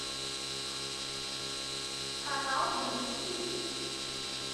канал бридж хитс